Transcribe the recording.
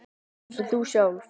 Alveg eins og þú sjálf.